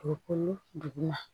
Dugukolo duguma